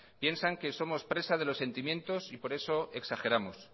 piensan que somos presa de los sentimientos y por eso exageramos